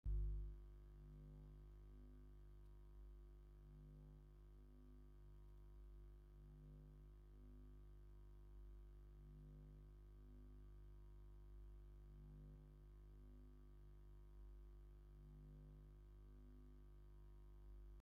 ሓደ ቀይሕ ሰብአይ ግንባሩ ምልጥ ዝበለ ቀይሕ ክዳን ተከዲኑ አብ ሊላን ፀሊምን ሕብሪ ድሕረ ባይታ ይርከብ፡፡ እዚ ሰብአይ ግንባሩ ጨምዲዱንጎኒ እናጠመተ ይርከብ፡፡